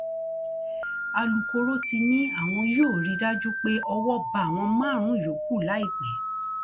alūkkóró ti ní àwọn yóò rí i dájú pé owó bá àwọn márùnún yòókù láìpẹ